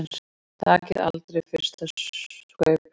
Takið aldrei fyrsta staupið!